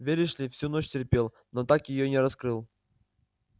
веришь ли всю ночь терпел но так её и не раскрыл